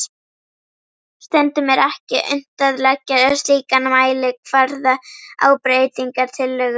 Stundum er ekki unnt að leggja slíkan mælikvarða á breytingatillögur.